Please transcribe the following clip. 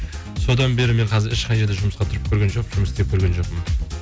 содан бері мен қазір ешқай жерде жұмысқа тұрып көрген жоқпын жұмыс істеп көрген жоқпын